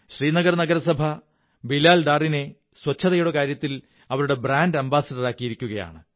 ശ്രീനഗർ നഗരസഭ ബിലാൽ ഡാറിനെ ശുചിത്വത്ിന്റെ കാര്യത്തിൽ അവരുടെ ബ്രാന്ഡ്് അംബാസഡറാക്കിയിരിക്കയാണ്